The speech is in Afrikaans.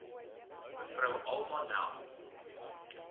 mev alma nel